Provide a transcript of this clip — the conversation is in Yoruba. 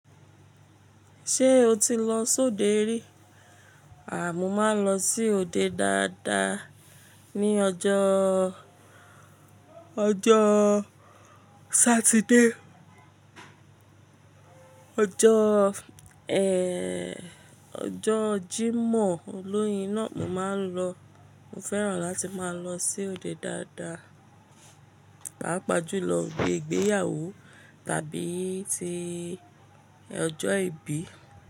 Ṣé o ti lọ sóde rí? A, mo máa ń lọ sí òde dáadáa ní ọjọ́, ọjọ́ Saturday. Ọjọ́ ẹ́, ọjọ́ Jímọ̀ olóyin náà mo máa ń lọ. Mo fẹ́ràn láti máa lọ sí òde dáadáa. Màá pàjù lọ gbé ìgbéyàwó tàbí ti ọjọ́ ìbí.